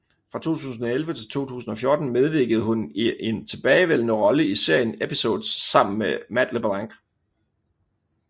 Fra 2011 til 2014 medvirkende hun i en tilbagevendende rolle i serien Episodes sammen med Matt LeBlanc